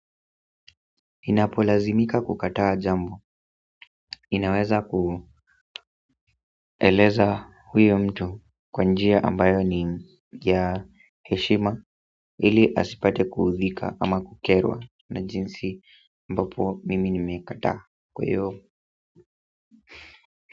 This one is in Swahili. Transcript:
Inapolazimika kukataa jambo, inaweza kueleza huyo mtu kwa njia ambayo ni ya heshima ili asipate kuudhika ama kukerwa na jinsi ambapo mimi nimekataa kwa hiyo.